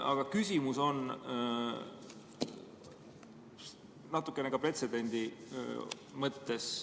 Aga küsimus on natukene seotud ka pretsedendiga.